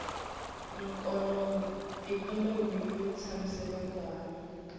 ikhonomi yo tshamiseka ku hava